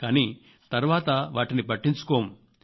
కానీ తర్వాత పట్టించుకోము